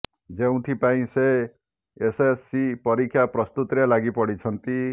ଯେଉଁଥି ପାଇଁ ସେ ଏସଏସସି ପରୀକ୍ଷା ପ୍ରସ୍ତୁତିରେ ଲାଗି ପଡିଛନ୍ତି